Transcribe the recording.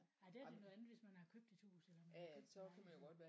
Nej det her det noget andet hvis man har købt et hus eller man har købt en lejlighed